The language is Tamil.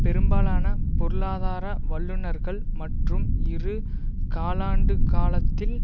பெரும்பாலான பொருளாதார வல்லுனர்கள் மற்றும் இரு காலாண்டுக்காலத்தில்